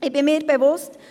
Ich bin mir bewusst: